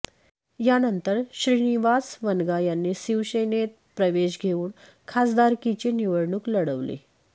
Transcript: यानंतर श्रीनिवास वनगा यांनी शिवसेनेत प्रवेश घेऊन खासदारकीची निवडणूक लढवली